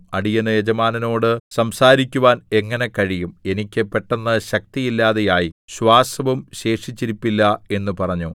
അടിയന് യജമാനനോട് സംസാരിക്കുവാൻ എങ്ങനെ കഴിയും എനിക്ക് പെട്ടെന്ന് ശക്തിയില്ലാതെയായി ശ്വാസവും ശേഷിച്ചിരിപ്പില്ല എന്ന് പറഞ്ഞു